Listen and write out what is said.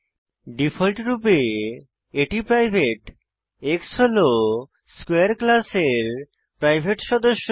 ডিফল্টরূপে এটি private x হল স্কোয়ারে ক্লাসের প্রাইভেট সদস্য